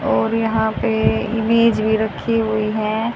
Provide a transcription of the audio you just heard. और यहां पे इमेज भी रखी हुई है।